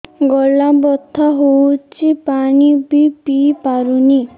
ଗଳା ବଥା ହଉଚି ପାଣି ବି ପିଇ ପାରୁନି